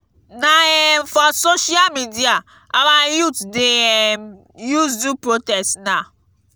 na um for social media our youth dem dey um use do protest now